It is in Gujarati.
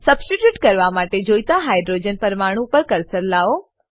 સબસ્ટીટ્યુટ કરવા માટે જોઈતા હાઇડ્રોજન હાઈડ્રોજન પરમાણુ પર કર્સર લાવો